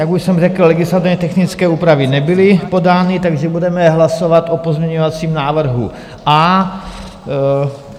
Jak už jsem řekl, legislativně technické úpravy nebyly podány, takže budeme hlasovat o pozměňovacím návrhu A.